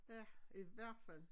Ja i hvert fald